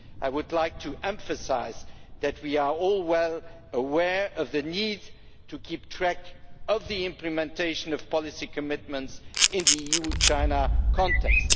I would like to emphasise that we are all well aware of the need to keep track of the implementation of policy commitments in the EU China context.